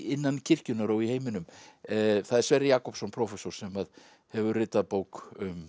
innan kirkjunnar og í heiminum það er Sverrir Jakobsson prófessor sem að hefur ritað bók um